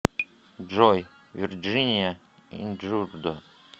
джой вирджиния инджурдо